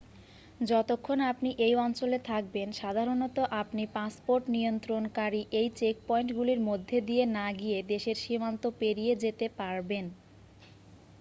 যতক্ষণ আপনি এই অঞ্চলে থাকবেন সাধারণত আপনি পাসপোর্টনিয়ন্ত্রণকারী এই চেকপয়েন্টগুলির মধ্যে দিয়ে না গিয়ে দেশের সীমান্ত পেরিয়েযেতে পারবেন